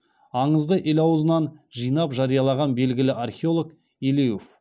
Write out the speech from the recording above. аңызды ел аузынан жинап жариялаған белгілі археолог елеуов